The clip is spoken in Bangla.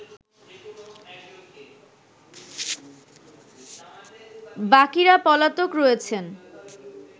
বাকিরা পলাতক রয়েছেন